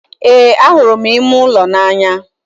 Ee, ahụrụ m ime ụlọ n'anya